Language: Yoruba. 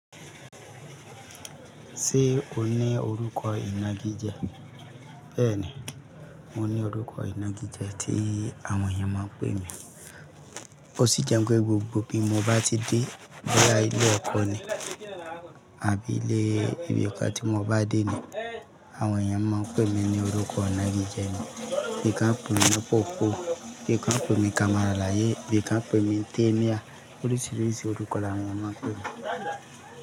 Ṣé o ní orúkọ ìnagijẹ? Bẹ́ẹ̀ni, mo ní orúkọ ìnagijẹ tí àwọn èèyàn máa n pè mí. Ó sì jẹ́ pé gbogbo bí mo bá ti dé lára ilé ẹ̀kọ́ ni àbí ilé ibi ta tí mo bá dé ni àwọn èèyàn máa ń pè mí ní orúkọ ìnagijẹ mi. Bì i ká ń pè mi pópó, bì i ká ń pè mi kamalalayé, bì i ká ń pè mi tẹ́níya, oríṣiríṣi orúkọ̀ làwọn ènìyàn máa ń pè mi.